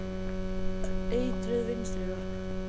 Eitruð vinstri löpp.